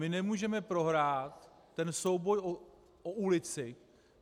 My nemůžeme prohrát ten souboj o ulici.